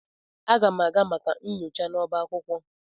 Aga m aga maka nyocha n'ọba akwụkwọ.